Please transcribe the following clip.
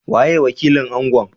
Waye wakilin Angon?